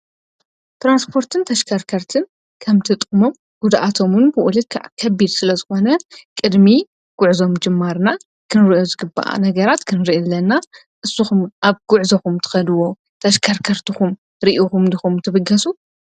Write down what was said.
ትራንስፖርትን ተሽካርከርትን ከምቲ ጥቕሞም ጉድኣቶም ውን ብኡ ልክዕ ከቢድ ስለ ዝኾነ ቅድሚ ጕዕዞ ምጅማርና ክንሪኦ ዝግብኡ ነገራት ክንርኢ ኣለና፡፡ እስኹም ኣብ ጕዕዞኹም ትኸድዎ ተሽካርከርትኹም ርእኹም ዲኹም ትብገሱ?